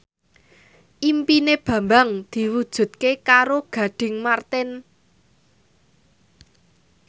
impine Bambang diwujudke karo Gading Marten